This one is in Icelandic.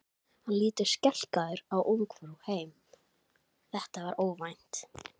Hann lítur skelkaður á Ungfrú heim, þetta var óvænt!